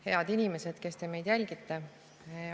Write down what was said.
Head inimesed, kes te meid jälgite!